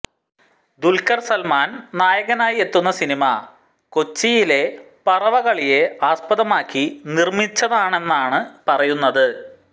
ദുല്ഖര് സല്മാന് നായകനാക്കി എത്തുന്ന സിനിമ കൊച്ചിയിലെ പറവ കളിയെ ആസ്പദമാക്കി നിര്മ്മിച്ചതാണെന്നാണ് പറയുന്നത്